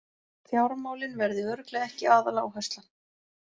Fjármálin verði örugglega ekki aðaláherslan